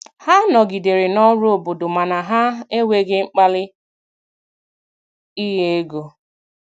Ha nọgidere n'ọrụ obodo mana ha enweghi mkpali inye ego